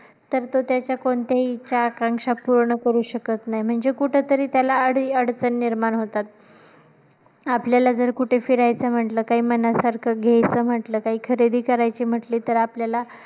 तर तो त्याच्या कोणत्याही इच्छा, आकांक्षा पूर्ण करू शकत नाही, म्हणजे कुठे तरी त्याला अडी अडचण निर्माण होतात. आपल्याला जर कुठे फिरायचा म्हंटलं, काही मनासारखा घ्यायचं म्हंटलं, काही खरेदी करायची म्हंटली तर आपल्याला